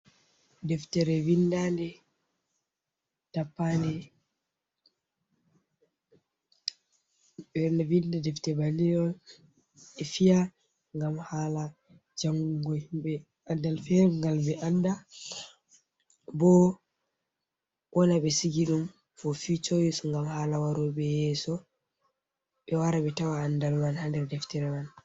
Deftiree vinda nde, tappa nde, ɓeɗo vindi defti bannin on ɓe fiya ngam hala jangongo himɓe adal fere ngal be anda, bo wona ɓe sigi ɗum fo ficho use ngam hala waroɓe yeso ɓe wara ɓe tawa andalman haa ndar deftere man.